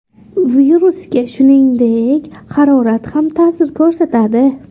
Virusga, shuningdek, harorat ham ta’sir ko‘rsatadi.